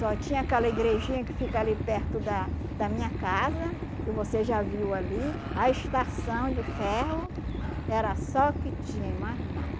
Só tinha aquela igrejinha que fica ali perto da da minha casa, que você já viu ali, a estação de ferro, era só o que tinha e mais